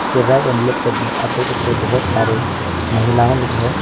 सब मे आप देख सकते हैं बहोत सारे महिलाएं लोग हैं।